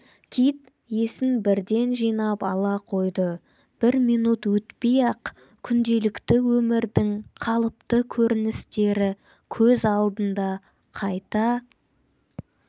кит есін бірден жинап ала қойды бір минут өтпей-ақ күнделікті өмірдің қалыпты көріністері көз алдында қайта